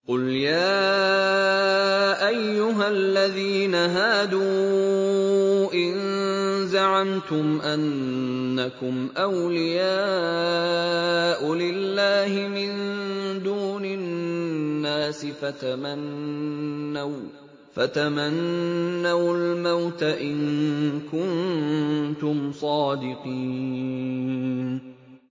قُلْ يَا أَيُّهَا الَّذِينَ هَادُوا إِن زَعَمْتُمْ أَنَّكُمْ أَوْلِيَاءُ لِلَّهِ مِن دُونِ النَّاسِ فَتَمَنَّوُا الْمَوْتَ إِن كُنتُمْ صَادِقِينَ